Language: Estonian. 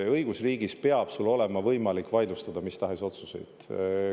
Õigusriigis peab sul olema võimalik vaidlustada mis tahes otsuseid.